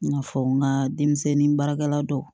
I n'a fɔ n ka denmisɛnnin baarakɛla dɔw